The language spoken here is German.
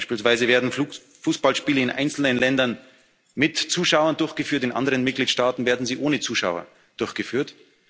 umgehen. Beispielsweise werden Fußballspiele in einzelnen Ländern mit Zuschauern durchgeführt, in anderen Mitgliedstaaten werden sie ohne Zuschauer durchgeführt.